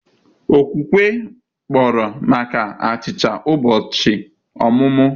Okwukwe kpọrọ maka achicha ụbọchị ọmụmụ.